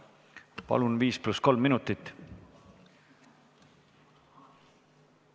Palun, viis pluss kolm minutit!